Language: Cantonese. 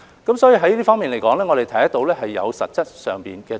因此，在這方面，我們看到是有實質進展。